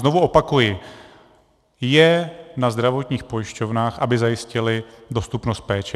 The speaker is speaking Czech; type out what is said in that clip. Znovu opakuji, je na zdravotních pojišťovnách, aby zajistily dostupnost péče.